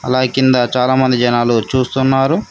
అలాగే కింద చాలామంది జనాలు చూస్తున్నారు.